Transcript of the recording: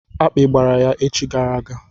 Akpi gbara ya echi gara aga.